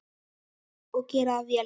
Og gera það vel.